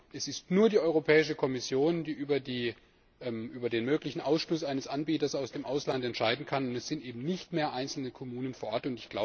Es ist nämlich nur die Europäische Kommission, die über den möglichen Ausschluss eines Anbieters aus dem Ausland entscheiden kann, und es sind eben nicht mehr einzelne Kommunen vor Ort.